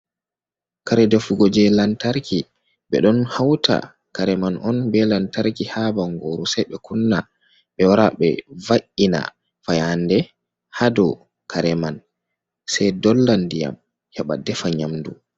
Kare defugo je lantarki, be don hauta kare man on be lantarki ha bangoru sei be kunna be wara be va’’ina fayande ha do kare man sai dolla diyam haba defa nyamdu.